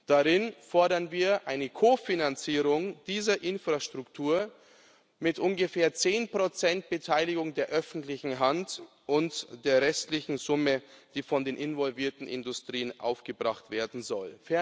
Darin fordern wir eine Kofinanzierung dieser Infrastruktur mit ungefähr 10 Beteiligung der öffentlichen Hand und der restlichen Summe, die von den involvierten Industrien aufgebracht werden soll.